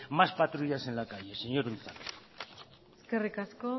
más patrullas en la calle señor unzalu eskerrik asko